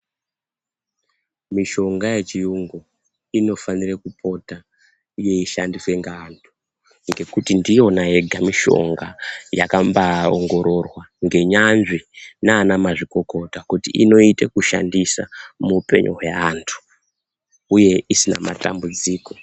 Mishonga yechiyungu inofanira kupota yeishandiswa ngeanthu, ngekuti ndiyona yega mishonga yakambaaongororwa ngenyanzvi nana mazvikokota kuti inoite kushandisa muupenyu hweanthu, uye isina matambudziko.